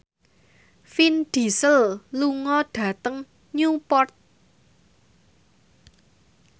Vin Diesel lunga dhateng Newport